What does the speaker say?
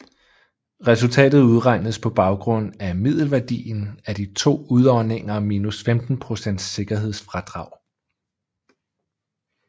Resultatet udregnes på baggrund af middelværdien af de to udåndinger minus 15 procents sikkerhedsfradrag